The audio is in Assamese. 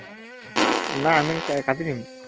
নাই আামি হম কাটি দিম